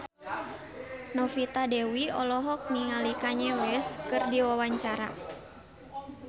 Novita Dewi olohok ningali Kanye West keur diwawancara